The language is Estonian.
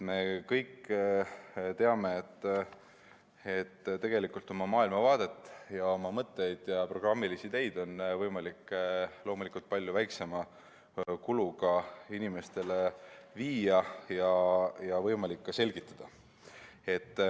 Me kõik teame, et tegelikult on oma maailmavaadet, oma mõtteid ja programmilisi ideid võimalik palju väiksema kuluga inimesteni viia ja ka selgitada.